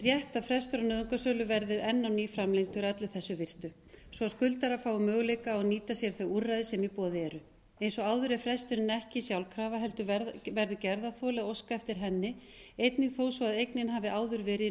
að frestur á nauðungarsölu verði enn á ný framlengdur að öllu þessu virtu svo skuldarar fái möguleika á að nýta sér þau úrræði sem í boði eru eins og áður er fresturinn ekki sjálfkrafa heldur verður gerðarþoli að óska eftir henni einnig þó svo eignin hafi áður verið í